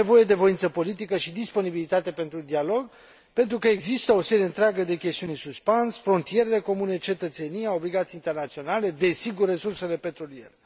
E nevoie de voință politică și disponibilitate pentru dialog pentru că există o serie întreagă de chestiuni în suspans frontierele comune, cetățenia, obligații internaționale, desigur resursele petroliere.